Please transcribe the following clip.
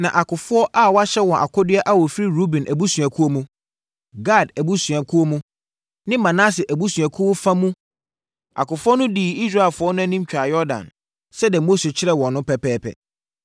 Na akofoɔ a wɔahyɛ wɔn akodeɛ a wɔfiri Ruben abusuakuo mu, Gad abusuakuo mu ne Manase abusuakuo fa mu akofoɔ no dii Israelfoɔ no anim twaa Yordan sɛdeɛ Mose kyerɛɛ wɔn no pɛpɛɛpɛ.